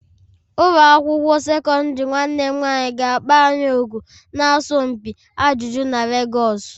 Ụlọ akwụkwọ sekọndrị nwanne m nwanyị ga-akpọ anyị òkù n'asọmpi ajụjụ na Lagos.